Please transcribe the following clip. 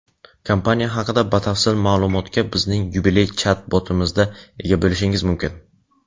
Kompaniya haqida batafsil ma’lumotga bizning yubiley chat-botimizda ega bo‘lishingiz mumkin.